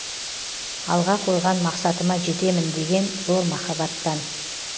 алға қойған мақсатыма жетемін деген зор махаббаттан